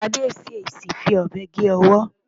Tádé ṣèèṣì fi ọ̀bẹ gé ọwọ́.